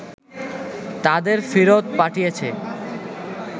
তাদের ফেরত পাঠিয়েছে